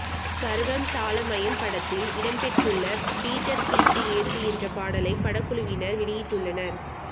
சர்வம் தாளமயம் படத்தில் இடம்பெற்றுள்ள பீட்டர் பீட்டு ஏத்து என்ற பாடலை படக்குழுவினர் வெளியிட்டுள்ளனர்